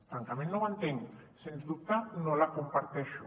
francament no ho entenc sens dubte no la comparteixo